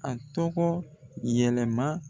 A tɔgɔ yɛlɛ ma.